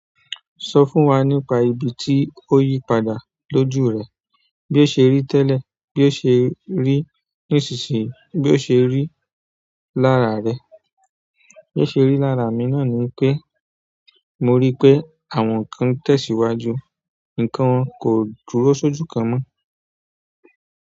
Sọ fún wa nípa ibi tí o yípadà lójú rẹ, bí o ṣe rí tẹ́lẹ̀, bí o ṣe rí nísinsìnyí, bí o ṣe rí lára rẹ. Bí o ṣe rí lára mi náà ni pé mo rí pé àwọn nkan tẹ̀síwájú, nǹkan kò dúró sójú kan mọ́.